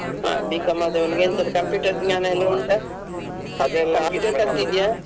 ಹ B.Com ಆದವನಿಗೆ ಎಂತದು computer ಜ್ಞಾನ ಎಲ್ಲ ಉಂಟಾ computer ಕಲ್ತಿದ್ಯಾ?